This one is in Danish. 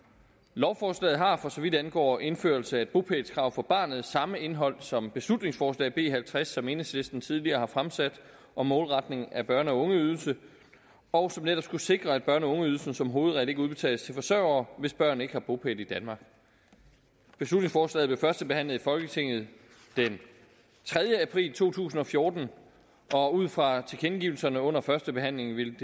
lovforslaget har for så vidt angår indførelsen af et bopælskrav for barnet samme indhold som beslutningsforslag b halvtreds som enhedslisten tidligere har fremsat om målretning af børne og ungeydelsen og som netop skulle sikre at børne og ungeydelsen som hovedregel ikke udbetales til forsørgere hvis børn ikke har bopæl i danmark beslutningsforslaget blev førstebehandlet i folketinget den tredje april to tusind og fjorten og ud fra tilkendegivelserne under førstebehandlingen vil